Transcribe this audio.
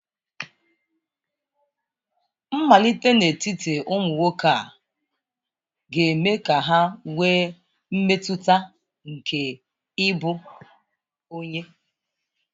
Mmalite n'etiti ụmụ nwoke ga-eme ka ha nwee mmetụta nke ịbụ onye.